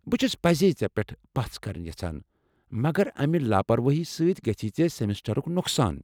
بہٕ چھس پٔزۍ ژےٚ پیٹھ پژھ كرٕنۍ یژھان ، مگر امہِ لاپروٲہی سۭتۍ گژھی ژےٚ سیمِسٹرُك نۄقصان ۔